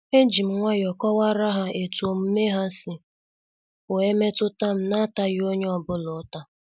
Ejim nwayọọ kọwara ha etu omume ha si wee metutam na ataghi onye ọ bụla uta.